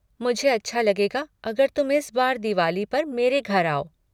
मुझे अच्छा लगेगा अगर तुम इस बार दिवाली पर मेरे घर आओ।